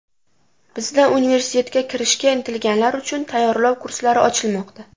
Bizda universitetga kirishga intilganlar uchun tayyorlov kurslari ochilmoqda!